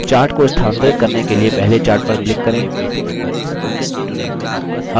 chart को स्थानांतरित करने के लिए पहले chart पर click करें